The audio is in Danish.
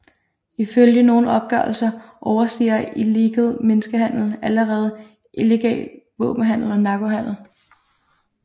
Ifølge nogle opgørelser overstiger illegal menneskehandel allerede illegal våbenhandel og narkohandel